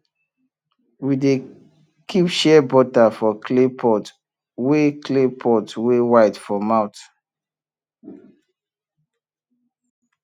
we dey keep shea butter for clay pot wey clay pot wey wide for mouth